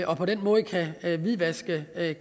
og på den måde kan hvidvaske